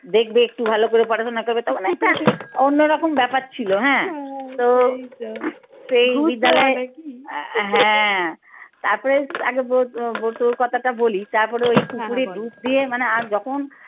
দেখবে একটু ভালো করে পাঠাতো নাকাবে তখন অন্যরকম ব্যাপার ছিল হ্যাঁ তো হ্যাঁ তারপরে আগে বটুর কথাটা বলি তারপরে ওই পুকুরে ডুব দিয়ে মানে আর যখন